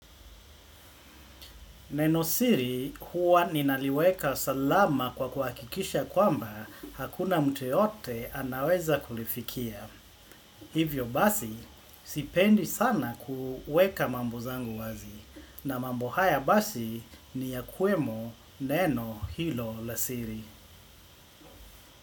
Neno siri huwa ninaliweka salama kwa kuhakikisha kwamba hakuna mtu yoyote anaweza kulifikia. Hivyo basi sipendi sana kuweka mambo zangu wazi. Na mambo haya basi ni yakuwemo neno hilo la siri.